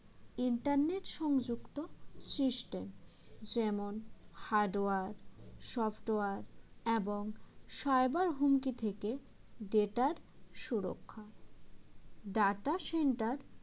internet সংযুক্ত system যেমন hardware software এবং cyber হুমকি থেকে data র সুরক্ষা data center